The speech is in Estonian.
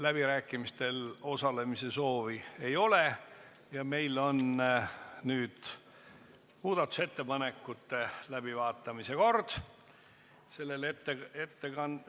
Läbirääkimistel osalemise soovi ei ole ja nüüd on muudatusettepanekute läbivaatamise käes kord.